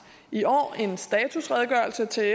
i år en statusredegørelse til